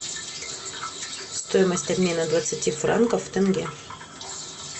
стоимость обмена двадцати франков в тенге